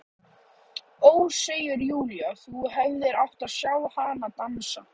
Ó, segir Júlía, þú hefðir átt að sjá hana dansa!